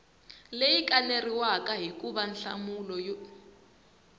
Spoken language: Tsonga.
leyi kaneriwaka hikuva nhlamulo yi